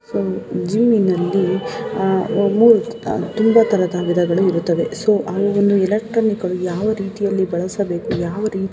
So gym ಇನಲ್ಲಿ ಅಹ್ ಉ ಮು ತುಂಬಾ ತರದ ವಿಧಗಳು ಇರುತ್ತವೆ. ಸೋ ಅವು ಎಲೆಕ್ಟ್ರಾನಿಕ್ ಅವನು ಯಾವ ರೀತಿ ಬಳಸಬೇಕು. ಯಾವ್ ರೀತಿ --